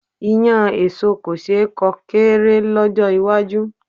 Iyán èso kò ṣe é kó kéré lọ́jọ́ iwájú.